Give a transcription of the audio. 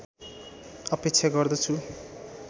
अपेक्षा गर्दछु